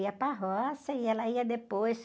Ia para roça e ela ia depois.